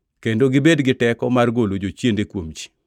kendo gibed gi teko mar golo jochiende kuom ji.